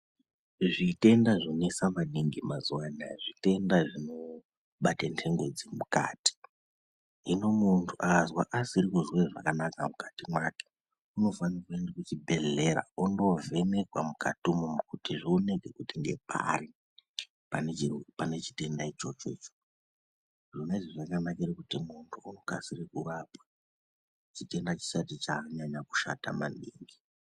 Zvitenda zvonesa maningi mazuwa anaya zvitenda zvinobate nthengo dzemukati. Hino munthu akazwa asiri kuzwe zvakanaka mukati mwake unofanire kuende muchibhedhlera ondoovhenekwa mukati imomo kuti zvionekwe kuti ngepari pane chi pane chitenda ichocho icho..Zvona izvi zvakanakire kuti munthu unokasire kurapwa chitenda chisati chanyanya kushata maningi.